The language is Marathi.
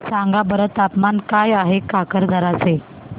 सांगा बरं तापमान काय आहे काकरदरा चे